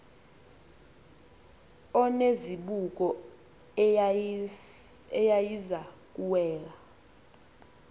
onezibuko eyayiza kuwela